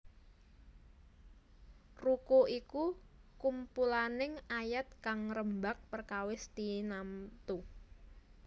Ruku iku kumpulaning ayat kang ngrembag perkawis tinamtu